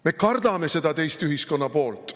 Me kardame seda teist ühiskonnapoolt.